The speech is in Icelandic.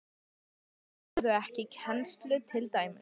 Af hverju ferðu ekki í kennslu til dæmis?